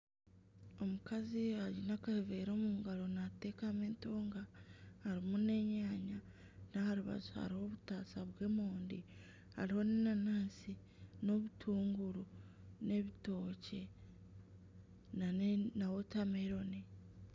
Omukazi aine akaveera omungaro naatekamu entonga. Harimu n'enyanya n'aharibaju hariho obutaasa bw'emondi. Hariho n'enanasi n'obutunguru n'ebitokye na wotameroni.